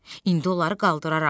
İndi onları qaldıraram,